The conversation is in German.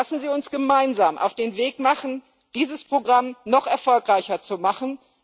Machen wir uns gemeinsam auf den Weg, dieses Programm noch erfolgreicher zu machen!